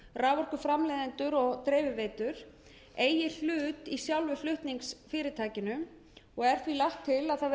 raforkuframleiðendur og dreifiveitur eigi hlut í sjálfu flutningsfyrirtækinu og er því lagt til að kveðið verði